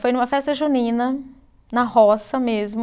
Foi numa festa junina, na roça mesmo,